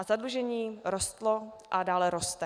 A zadlužení rostlo a dále roste.